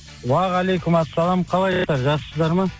уағалейкумассалам қалайсыздар жақсысыздар ма